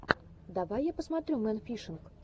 давай я посмотрю мэн фишинг